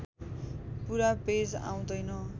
पुरा पेज आउँदैन